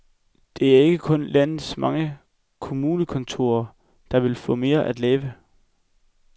Det er ikke kun landets mange kommunekontorer, der vil få mere at lave.